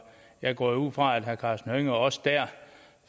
jeg går jo ud fra at herre karsten hønge også dér